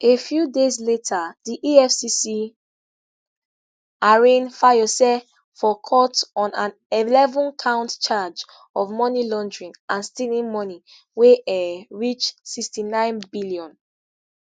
a few days later di efcc arraign fayose for court on an 11-count charge of money laundering and stealing money wey um reach n6.9 billion.